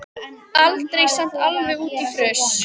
Aldrei samt alveg út í fruss.